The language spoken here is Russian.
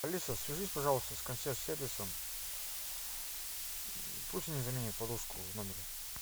алиса свяжись пожалуйста с консьерж сервисом пусть они заменят подушку в номере